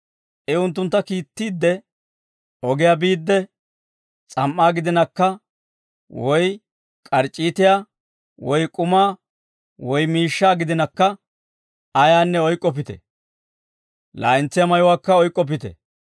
I unttuntta kiittiidde, «Ogiyaa biidde, s'am"aa gidinakka, woy k'arc'c'iitiyaa, woy k'umaa, woy miishshaa gidinakka ayaanne oyk'k'oppite; laa'entsiyaa mayuwaakka oyk'k'oppite.